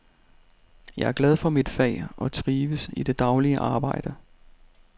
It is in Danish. Jeg er glad for mit fag og trives i det daglige arbejde.